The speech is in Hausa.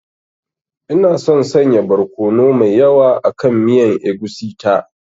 Ina son sanya barkono mai yawa akan miyan egusi ta.